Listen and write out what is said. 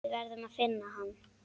Við verðum að finna hann.